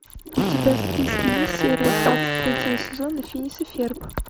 у тебя в списке есть серия двадцать третьего сезона финес и ферб